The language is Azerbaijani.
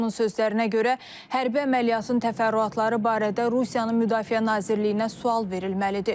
Onun sözlərinə görə, hərbi əməliyyatın təfərrüatları barədə Rusiyanın Müdafiə Nazirliyinə sual verilməlidir.